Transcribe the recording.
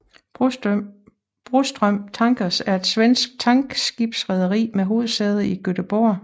Broström Tankers er et svensk tankskibsrederi med hovedsæde i Göteborg